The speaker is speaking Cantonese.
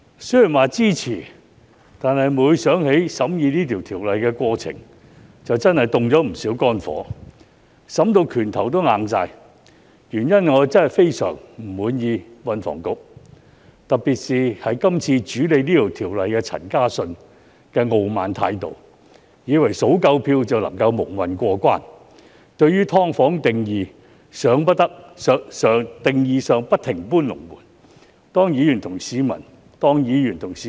雖說支持，但每當我想起審議《條例草案》的過程，便真的會大動肝火，甚至"拳頭也硬了"，原因是我對運輸及房屋局真的非常不滿，特別是主理《條例草案》的陳嘉信，他態度傲慢，以為數夠票便能蒙混過關，對"劏房"的定義不停"搬龍門"，以為可以輕易瞞騙議員和市民。